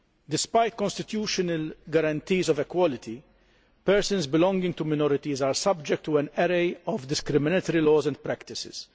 Despite constitutional guarantees of equality, persons belonging to minorities are subject to an array of discriminatory laws and practices.